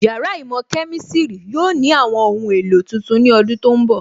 Yàrá īmò Kemistiri yóò ní àwọn ohun èlò tuntun ní ọdún tó ń bọ̀